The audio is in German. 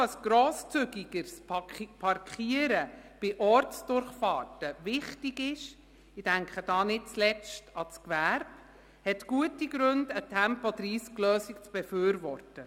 Wem also ein grosszügigeres Parkieren bei Ortsdurchfahrten wichtig ist – ich denke dabei nicht zuletzt an das Gewerbe –, ist das ein guter Grund, eine Tempo-30-Lösung zu befürworten.